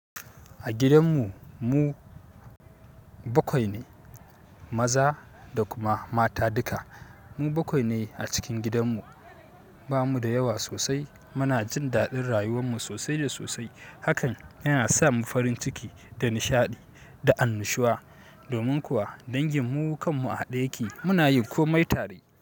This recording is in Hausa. A gidan mu, mu bakwai ne, maza da kuma mata duka. Mu bakwai ne a cikin gidan mu. Ba mu da yawa sosai. Muna jin daɗin rayuwar mu sosai da sosai. Hakan yana sa mu farin ciki da nishaɗi da annushuwa. Domin kuwa dangin mu kanmu a haɗe yake muna yin komai tare.